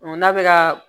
N'a bɛ ka